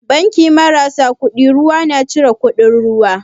Banki marasa kuɗin ruwa na cire kuɗin ruwa?